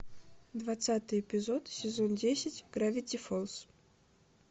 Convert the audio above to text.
двадцатый эпизод сезон десять гравити фолз